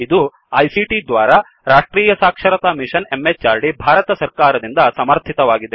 ಇದು ಐಸಿಟಿ ದ್ವಾರಾ ರಾಷ್ಟ್ರೀಯ ಸಾಕ್ಷರತಾ ಮಿಶನ್ ಎಂಎಚಆರ್ಡಿ ಭಾರತ ಸರ್ಕಾರದಿಂದ ಸಮರ್ಥಿತವಾಗಿದೆ